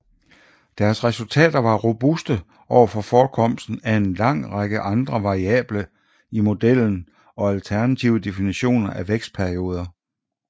Deres resultater var robuste over for forekomsten af en lang række andre variable i modellen og alternative definitioner af vækstperioder